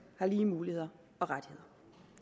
har lige muligheder og rettigheder